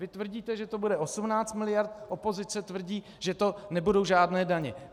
Vy tvrdíte, že to bude 18 mld., opozice tvrdí, že to nebudou žádné daně.